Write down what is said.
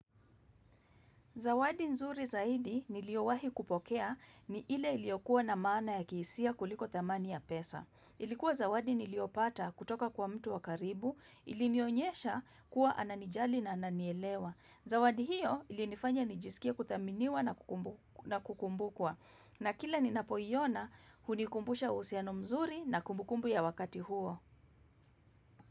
Zawadi nzuri zaidi niliyowahi kupokea ni ile iliyokuwa na maana ya kihisia kuliko thamani ya pesa. Ilikuwa zawadi niliyopata kutoka kwa mtu wakaribu ilinionyesha kuwa ananijali na ananielewa. Zawadi hiyo ilinifanya nijisikia kuthaminiwa na kukumbukwa. Na kila ninapoyiona hunikumbusha uhusiano mzuri na kumbukumbu ya wakati huo.